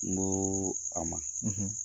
N ko'o a ma .